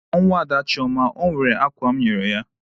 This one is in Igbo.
Kpọọ nwaada Chioma! E nwere akwa m nyere ya.